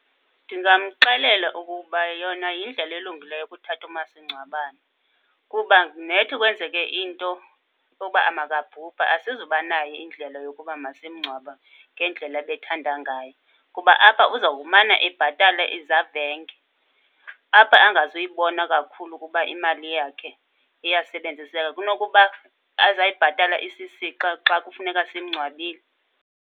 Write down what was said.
Ndizamxelela ukuba yona yindlela elungileyo ukuthatha umasingcwabane, kuba nethi kwenzeke into yoba makabhubhe asizuba nayo indlela yokuba masimngcwabe ngendlela ebethanda ngayo. Kuba apha uzawumana ebhatala izavenge, apha angazuyibona kakhulu ukuba imali yakhe iyasebenziseka kunokuba azayibhatala isisixa xa kufuneka simngcwabile.